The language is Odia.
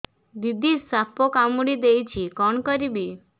ଦିଦି ସାପ କାମୁଡି ଦେଇଛି କଣ କରିବି